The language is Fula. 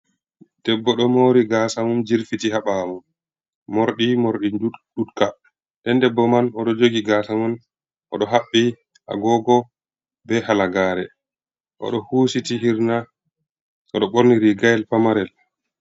Debbo ɗo mori gasa mum jirfiti ha ɓaawo. Mordi, mordi njuutka. Nden debbo man o ɗo jogi gasa man, o ɗo haɓɓi agogo be halagare, o ɗo husiti hirna, o ɗo borni rigayel pamarel.